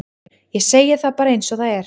ég segi það bara eins og er